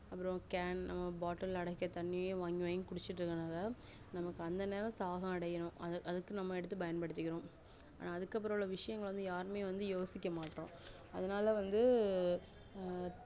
அப்புறம cane அஹ் bottle அடக்கிய தண்ணி வாங்கி வாங்கி குடிச்சிட்டு இருகனால நம்மக்குஅந்த நேரம் தாகம் அடையும் அதுக்கு எடுத்து பயன்படுத்திக்கிறோம் அதுக்கு அப்புறம் உள்ள விஷயம் யாருமே யோசிக்க மாட்டோம் அதுனால வந்து அஹ்